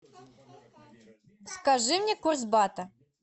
скажи мне курс бата